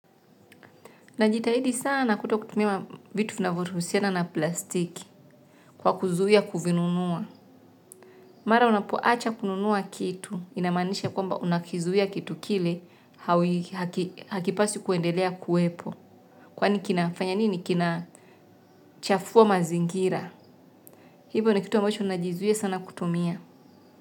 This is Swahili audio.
Najitahidi sana kutokutumia vitu vinavyoruhusiana na plastiki, kwa kuzuia kuvinunua. Mara unapoacha kununua kitu, inamanisha kwamba unakizuia kitu kile hakipasi kuendelea kuwepo. Kwani kinafanya nini? Kinachafua mazingira. Hivyo ni kitu ambacho ninajizuia sana kutumia.